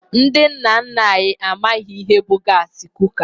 Ndị nna nna anyị ha amaghị ihe bụ gaasị kuka.